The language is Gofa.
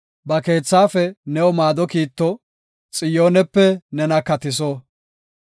Ba keethaafe new maado kiitto; Xiyoonepe nena katiso.